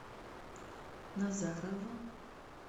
назарово